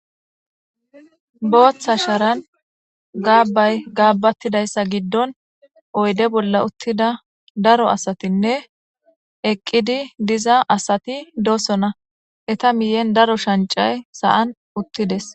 Boththa sharan gabay gabaththidayisaththa giddon oyidde bolla uththida daro asatinne eqqidi dizza asati de'osona etta miyini daro shanchchay sa'an uththides.